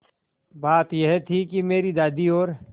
बात यह थी कि मेरी दादी और